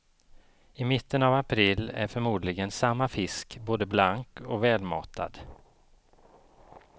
I mitten av april är förmodligen samma fisk både blank och välmatad.